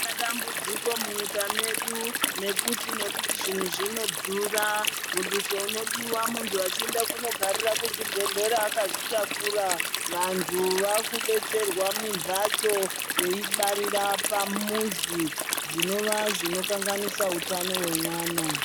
Ma tambudziko mu nyika medu nekuti nekuti zvinhu zvino dhura muduso unodiwa muntu achienda kuno garira ku chibhedhlera akazvi takura vantu vaku detsera mi mbatso vei barira pamuzi zvinova zvino kanganisa utano hwe mwana.